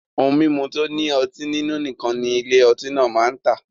Ohun mimu to ni oti ninu nikan ni Ile oti naa maa n ta